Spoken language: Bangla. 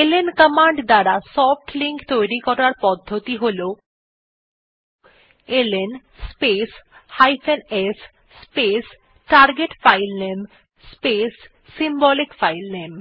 এলএন কমান্ড দ্বারা সফ্ট লিঙ্ক তৈরী করার পদ্ধতি হল LN space s space target filename space symbolic filename